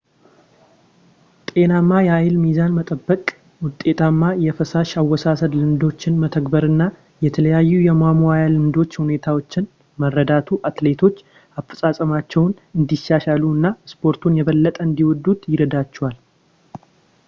ጤናማ የኃይል ሚዛን መጠበቅ ውጤታማ የፈሳሽ አወሳሰድ ልምዶችን መተግበር እና የተለያዩ የማሟያ ልምዶች ሁኔታዎችን መረዳቱ አትሌቶች አፈጻጸማቸውን እንዲያሻሽሉ እና ስፖርቱን የበለጠ እንዲወዱት ይረዳቸዋል